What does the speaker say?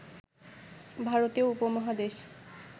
ভারতীয় উপমহাদেশ